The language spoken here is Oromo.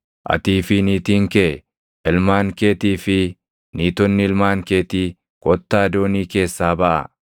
“Atii fi niitiin kee, ilmaan keetii fi niitonni ilmaan keetii kottaa doonii keessaa baʼaa.